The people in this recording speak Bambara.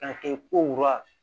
K'a kɛ